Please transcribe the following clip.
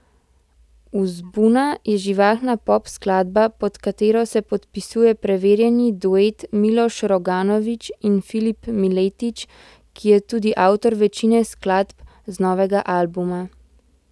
Uzbuna je živahna pop skladba, pod katero se podpisuje preverjeni duet Miloš Roganović in Filip Miletić, ki je tudi avtor večine skladb z novega albuma.